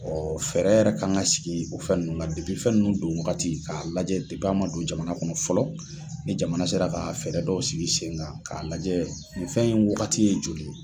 Ɔ fɛɛrɛ yɛrɛ ka kan ka sigi o fɛn nunnu don waagati ka lajɛ a ma don jamana kɔnɔ fɔlɔ, ni jamana sera ka fɛɛrɛ dɔw sigi sen kan k'a lajɛ nin fɛn in waagati ye joli.